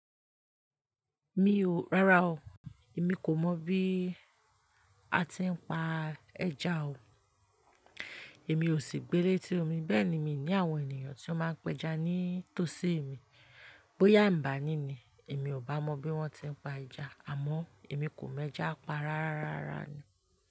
Mi ò, rárá o, èmi kò mọ̀ bí a ti ń pa ẹja o. Èmi ò sì gbé léti omi, bẹ́ẹ̀ ni mi ní àwọn ènìyàn tí ó máa ń péja ní tósi mi. Bóyá ń bá ní ni, èmi ò bá mọ bí wón ti ń pa ẹja, àmọ́ èmi kò mọ ẹja pa rárá rárá ni.